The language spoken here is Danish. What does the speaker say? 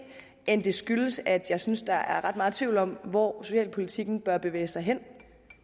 end det skyldes at jeg synes der er ret meget tvivl om hvor socialpolitikken bør bevæge sig hen